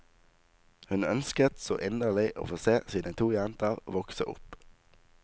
Hun ønsket så inderlig å få se sine to jenter vokse opp.